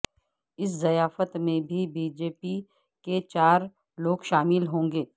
اس ضیافت میں B J P کے بھی چار لوگ شامل ہوں گے